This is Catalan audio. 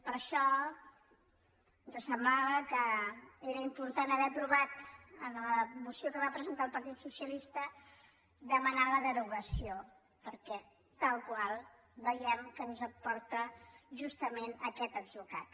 per això ens semblava que era im·portant haver aprovat en la moció que va presentar el partit socialista demanar·ne la derogació perquè tal qual veiem que ens porta justament a aquest atzucac